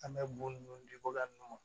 An bɛ bɔn dikokari nunnu ma